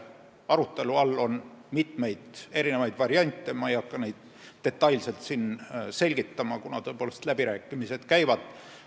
Arutelu all on mitmeid variante, kuid ma ei hakka neid siin detailselt selgitama, kuna läbirääkimised alles käivad.